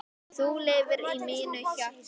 Þú lifir í mínu hjarta.